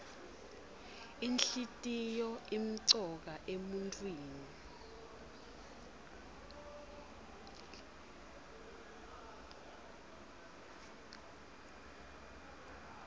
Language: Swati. inhlitiyoo imcoka emuntfwini